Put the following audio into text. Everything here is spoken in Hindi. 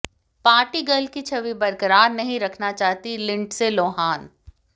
पार्टी गर्ल की छवि बरकरार नहीं रखना चाहती लिंडसे लोहान